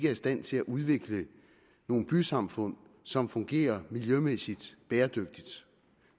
i stand til at udvikle nogle bysamfund som fungerer miljømæssigt bæredygtigt